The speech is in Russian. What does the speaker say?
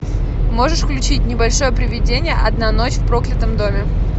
можешь включить небольшое привидение одна ночь в проклятом доме